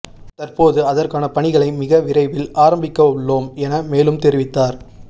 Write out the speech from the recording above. தற்போது அதற்கான பணிகளை மிக விரைவில் ஆரம்பிக்கவுள்ளோம் என மேலும் தெரிவித்தார்